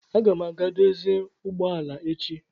Aga m aga dozie ụgbọ ala echi